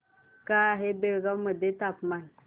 काय आहे बेळगाव मध्ये तापमान